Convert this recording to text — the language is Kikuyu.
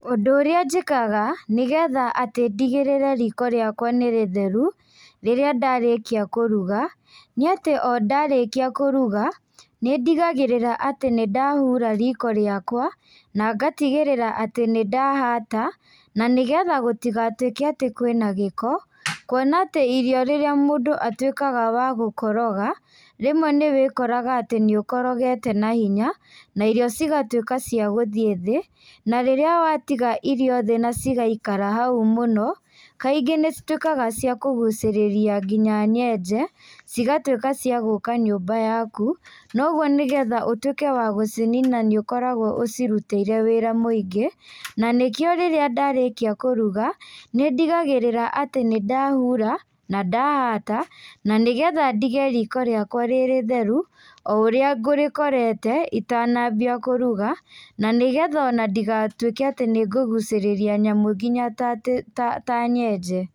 Ũndũ ũrĩa njĩkaga nĩ getha atĩ ndigĩrĩre riko rĩakwa nĩ rĩtheru, rĩrĩa ndarĩkia kũruga, nĩ atĩ o ndarĩkia kũruga, nĩ ndigagĩrĩra atĩ nĩ ndahura riko rĩakua, na ngatigĩrĩra atĩ nĩ ndahata, na nĩ getha gũtigatwĩke atĩ kwĩna gĩko, kwona atĩ irio rĩrĩa mũndũ atwĩkaga wa gũkoroga, rĩmwe nĩ wĩkoraga atĩ nĩ ũkorogete na hinya na irio cigatwĩka cia gũthiĩ thĩ, na rĩrĩa watiga irio thĩ na cigaikara hau mũno, kaingĩ nĩ citwĩkaga cia kũgucĩrĩria nginya nyenje, cigatwĩka cia gũka nyũmba yaku, noguo nĩgetha ũtwĩke wa gũcinina nĩ ũkoragwo ũcirutĩire wĩra mũingĩ, na nĩkĩo rĩrĩa ndarĩkia kũruga, nĩ ndigagĩrĩra atĩ nĩndahura, na ndahata, na nĩ ngetha ndige riko rĩakwa rĩrĩtheru, oũrĩa ngũrĩkorete itanambia kũruga, na nĩgetha ona ndigatwĩke atĩ nĩ ngũgucĩrĩria nyamũ ngina ta atĩ ta ta nyenje.